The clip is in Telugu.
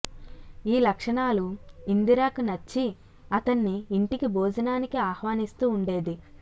ఈ లక్షణాలు ఇందిరకు నచ్చి అతన్ని యింటికి భోజనానికి ఆహ్వానిస్తూ వుండేది